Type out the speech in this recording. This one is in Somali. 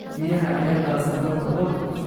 Biyaha ayaa daadsan dalka oo dhan